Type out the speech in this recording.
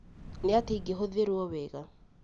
Nĩ atĩa ĩngĩhũthĩrũo wega.